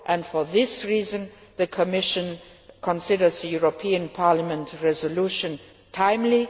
For this reason, the Commission considers the European Parliament resolution timely.